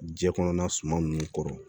Jɛ kɔnɔna suma ninnu kɔrɔ